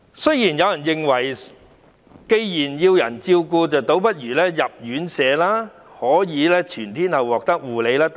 雖然有人認為，既然長者要人照顧便倒不如入住院舍，可以全天候獲得護理。